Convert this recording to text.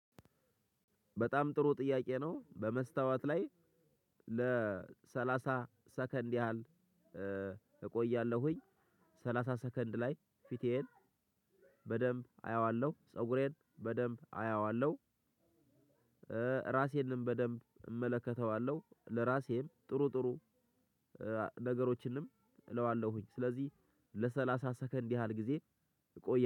በጣም ጥሩ ጥያቄ ነው በመስታወት ላይ ለሰላሳ ሰከንድ ያህል እ እቆያለሁኝ ሰላሳ ሰከንድ ላይ ፊቴን በደንብ አየዋለሁ ፀጉሬን በደንብ አየዋለሁ። እ ራሴንም በደንብ እመለከተዋለሁ ለራሴም ጥሩ ጥሩ እ ነገሮችንም እለዋለሁ ስለዚህ ለሰላሳ ሰከንድ ያህል ጊዜ እቆ